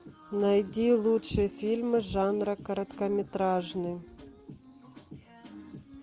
найди лучшие фильмы жанра короткометражный